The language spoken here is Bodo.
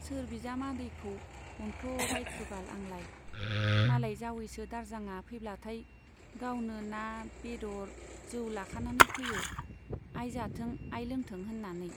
सोर बिजामादैखौ अनख्ल' बायखोबाल आंलाय ? मालाय जावैसो दारजांआ फैब्लाथाय गावनो ना , बेदर जौ लाखानानै फैयो, आइ जाथों , आइ लोंथों होन्नानै,